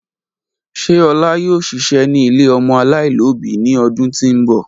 Ṣe Ola yoo ṣiṣẹ ni ile ọmọ alaialobi ni ọdun ti n bọ?